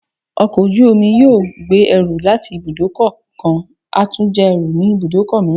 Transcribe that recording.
Ọkọ ojú-omi kan yóò gbé ẹrú latí ibudọ kán a tu ja ẹrú ni ibudọ miiran